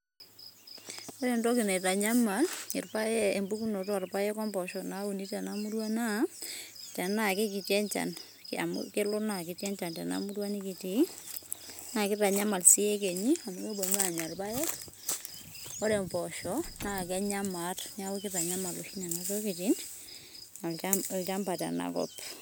Ore entoki aitanyamal irpaek empukunoto orpaek ompoosho nauni tena murua naa, tenaa kekiti enchan, amu kelo na kiti enchan tenamurua nikitii, na kitanyamal si iekenyi enya irpaek. Ore mpoosho na kenya maat, na kitanyamal oshi nena tokiting' olchamba tenakop.